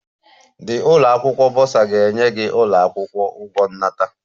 The ụlọ akwụkwọ burser ga-enye gị ụlọ akwụkwọ ụgwọ nnata